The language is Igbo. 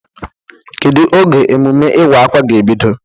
Kedu oge emume iwa-akwa ga-ebido?